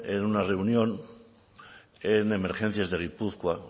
en una reunión en emergencias de gipuzkoa